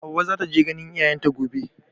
Hauwa za ta je ganin iyayen ta gobe.